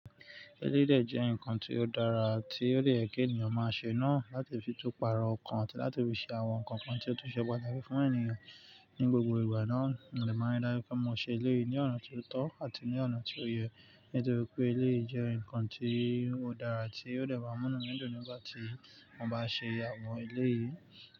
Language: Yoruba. Eléyi dè jẹ́ ǹkan tí ó dára, tí ó dè yé kí ènìyàn máa ṣe náà láti fi tún pàrọ̀ ọkàn àti láti fi ṣe àwọn ǹkan kan tí ó tó ṣe pàtàkì fún ènìyàn ní gbogbo ìgbà náà. N ò lè máa dárúkú kí wọ́n má ṣe ilé ní ọ̀nà tó tọ́ àti ní ọ̀nà tí ó yẹ, nítorí pé ilé jẹ́ ǹkan tí ó dára àti ó lè má mú nínù nígbà tí wọ́n bá ṣe àwọn eléyìí.